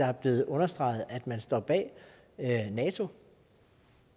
er blevet understreget at man står bag nato